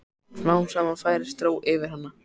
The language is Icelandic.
Smám saman færist ró yfir hana.